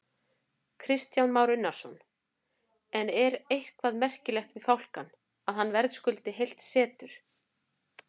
Kristján Már Unnarsson: En er eitthvað merkilegt við fálkann, að hann verðskuldi heilt setur?